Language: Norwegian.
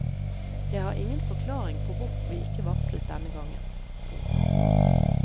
Jeg har ingen forklaring på hvorfor vi ikke varslet denne gangen. punktum